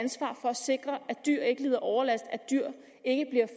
dyr ikke lider overlast